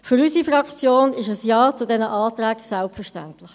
Für unsere Fraktion ist ein Ja zu diesen Anträgen selbstverständlich.